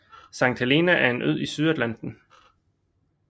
Sankt Helena er en ø i Sydatlanten